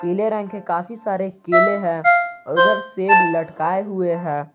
पीले रंग के काफी सारे केले हैं उधर सेब लटकाए हुए है।